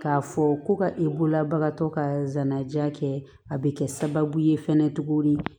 K'a fɔ ko ka e bololabagatɔ ka zana kɛ a bɛ kɛ sababu ye fɛnɛ tuguni